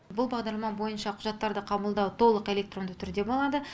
бұл бағдарлама бойынша құжаттарды қабылдау толық электронды түрде болады